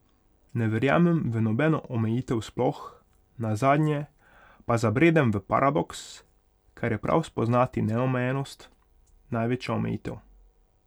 Ne verjamem v nobeno omejitev sploh, nazadnje pa zabredem v paradoks, ker je prav spoznati neomejenost največja omejitev.